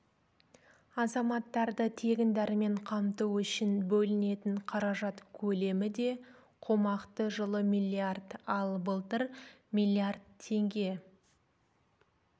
азаматтарды тегін дәрімен қамту үшін бөлінетін қаражат көлемі де қомақты жылы миллиард ал былтыр миллиард теңге